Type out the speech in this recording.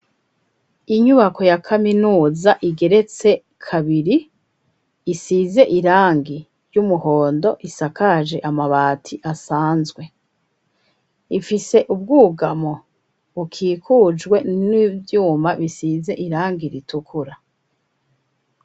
Inyubako ya kaminuza igeretse kabiri, isize irangi ry'umuhondo isakaje amabati asanzwe, ifise ubwugamo bukikujwe n'ivyuma bisize irangi ritukura.